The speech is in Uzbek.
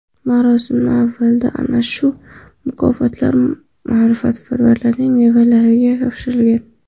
Marosim avvalida ana shu mukofotlar ma’rifatparvarning nevaralariga topshirilgan.